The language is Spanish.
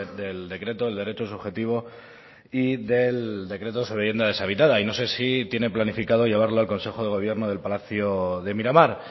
del decreto de derecho subjetivo y del decreto sobre vivienda deshabitada y no sé si tiene planificado llevarlo al consejo de gobierno del palacio de miramar